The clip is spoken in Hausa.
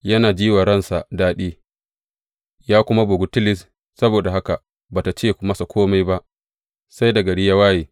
Yana ji wa ransa daɗi, ya kuma bugu tilis, saboda haka ba tă ce masa kome ba sai da gari ya waye.